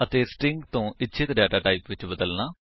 ਅਤੇ ਸਟ੍ਰਿੰਗ ਤੋ ਇੱਛਤ ਡੇਟਾਟਾਇਪ ਵਿੱਚ ਬਦਲਨਾ